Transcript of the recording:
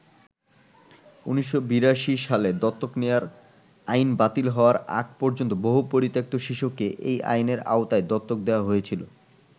১৯৮২ সালে দত্তক নেয়ার আইন বাতিল হওয়ার আগ পর্যন্ত বহু পরিত্যক্ত শিশুকে এই আইনের আওতায় দত্তক দেয়া হয়েছিল।